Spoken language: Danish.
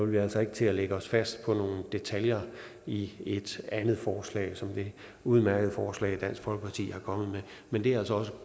vi altså ikke til at lægge os fast på nogle detaljer i et andet forslag som det udmærkede forslag dansk folkeparti er kommet med men det er altså også